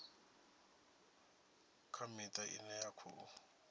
kha miṱa ine ya khou